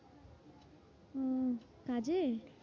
উম কাজে?